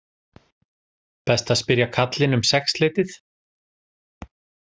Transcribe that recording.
Best að spyrja karlinn um sexleytið